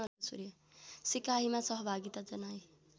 सिकाइमा सहभागिता जनाई